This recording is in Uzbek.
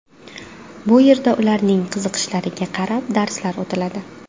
Bu yerda ularning qiziqishlariga qarab darslar o‘tiladi.